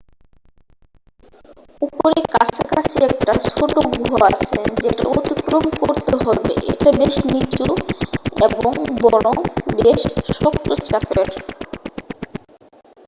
উপরের কাছাকাছি একটা ছোট গুহা আছে যেটা অতিক্রম করতে হবে এটা বেশ নিচু এবং বরং বেশ শক্ত চাপের